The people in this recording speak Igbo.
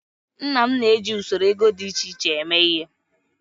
Nna m na-eji usoro ego dị iche iche eme ihe.